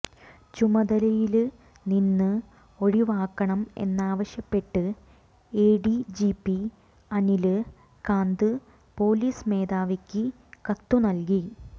ചുമതലയില് നിന്ന് ഒഴിവാക്കണം എന്നാവശ്യപ്പെട്ട് എഡിജിപി അനില് കാന്ത് പൊലീസ് മേധാവിക്ക് കത്തുനല്കി